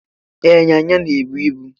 E, ịnyịnya na-ebu ibu.